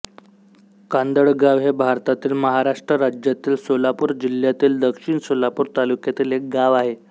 कांदळगाव हे भारतातील महाराष्ट्र राज्यातील सोलापूर जिल्ह्यातील दक्षिण सोलापूर तालुक्यातील एक गाव आहे